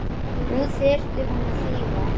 Nú þyrfti hún að hlýða.